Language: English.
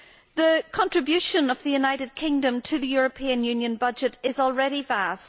The contribution of the United Kingdom to the European Union budget is already vast.